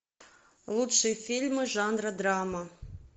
лучшие фильмы жанра драма